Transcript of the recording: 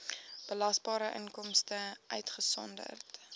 belasbare inkomste uitgesonderd